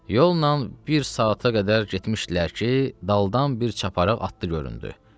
Yolla bir saata qədər getmişdilər ki, daldan bir çaparaq atdı göründü.